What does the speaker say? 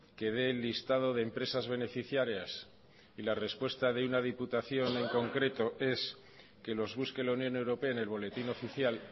que dé el listado de empresas beneficiarias y la respuesta de una diputación en concreto es que los busque la unión europea en el boletín oficial